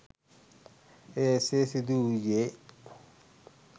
එය එසේ සිදු වූයේ